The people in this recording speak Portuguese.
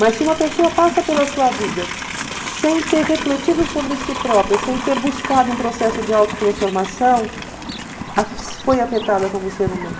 Mas se uma pessoa passa pela sua vida sem ter refletido sobre si própria, sem ter buscado um processo de autotransformação, foi afetada como ser humano.